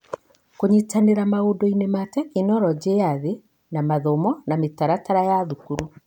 Kũnyitanĩra maũndũ-inĩ ma tekinoronjĩ ya thĩ na mathomo na mĩtaratara ya thukuru.